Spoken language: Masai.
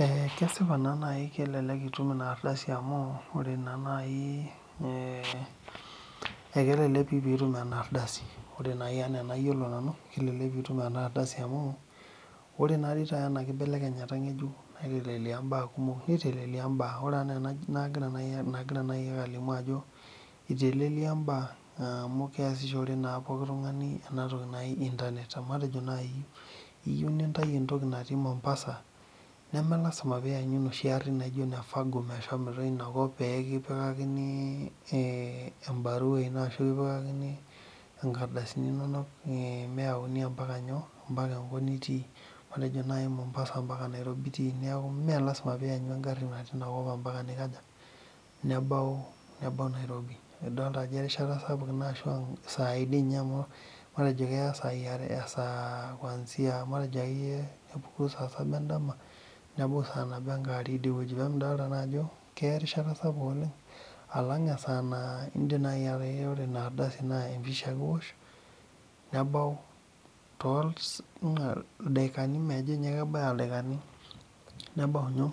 Eeeh kesipa naa naaji kelelek itum ina ardasi amu ore naa naaji kelelek itum ina aardasi ore naa naaji enaa enayiolo nanu kelelek piitum ena ardasi amu ore naa peitai ena keibelekenyata ng'ejuk neitelelia mbaa ore enaa enagira naaji ake alimu ajo eitelelia imbaa amu keesishore naa pookin tung'ani ena toki naji internet teniyieu nitayu entoki natiii mombasa nemelasima peiyanyu inoshi arin naijio ine fago meshomoita inakop peekipikakini embarua ino ashu kipikakini enkardasini inonok meeyauni ompaka nyoo ombaka enkop nitii matejo duo mombasa ombaka Nairobi nitii meelasima peeiyanyu engari ompaka ninkaja nebau Nairobi idolita ajo erishata sapuk ina ashu ashuu isaai amu matejo keya esaa kwanzia matejo akeyie tenepuku saa nabo endama nebau saa are idiweuji peemidolita naa ajo keya Erishata sapuk oleng alang esaa naa indiim inaardasi naa empisha ake iwosh nebau tooldaikani majo ninye kebaya ildaikani nebau